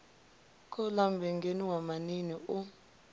khouḽa mmbengeni wa maṋiini u